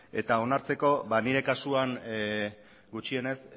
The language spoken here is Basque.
eta onartzeko nire kasuan gutxienez